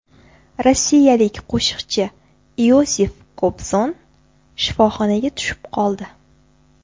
Rossiyalik qo‘shiqchi Iosif Kobzon shifoxonaga tushib qoldi.